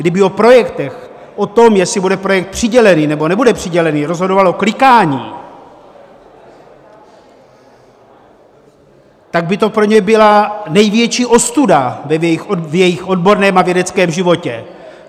Kdyby o projektech, o tom, jestli bude projekt přidělený, nebo nebude přidělený, rozhodovalo klikání, tak by to pro ně byla největší ostuda v jejich odborném a vědeckém životě.